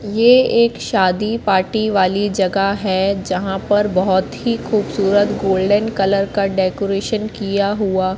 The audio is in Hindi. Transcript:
ये एक शादी पार्टी वाली जगा है जहां पर बहोत ही खूबसूरत गोल्डन कलर का डेकोरेशन किया हुआ--